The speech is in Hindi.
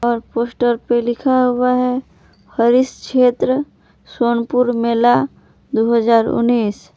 पोस्टर पे लिखा हुआ है हरीश क्षेत्र सोनपुर मेला दो हजार उन्नीस।